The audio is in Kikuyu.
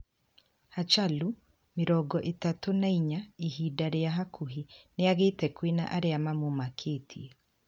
Hachalu, mirongo ithatũ na inya, ihinda ria hakuhi niagite kwina aria mamumakitie